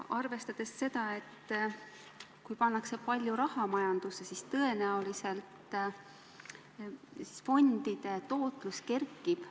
Ja kui pannakse palju raha majandusse, siis tõenäoliselt fondide tootlus kerkib.